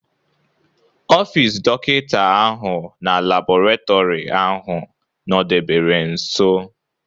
Ọfis dọkịta ahụ na labọretọri ahụ nọdebere nso.